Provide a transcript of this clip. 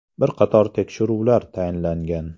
Bir qator tekshiruvlar tayinlangan.